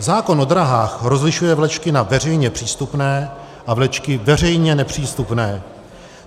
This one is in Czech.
Zákon o dráhách rozlišuje vlečky na veřejně přístupné a vlečky veřejně nepřístupné.